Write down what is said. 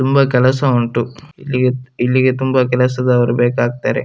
ತುಂಬಾ ಕೆಲಸ ಉಂಟು ಇಲ್ಲಿಗೆ ಇಲ್ಲಿಗೆ ತುಂಬಾ ಕೆಲಸದವ್ರು ಬೇಕಾಗತ್ತಾರೆ.